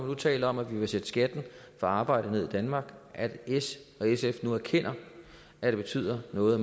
nu taler om at vi vil sætte skatten på arbejde ned i danmark at s og sf nu erkender at det betyder noget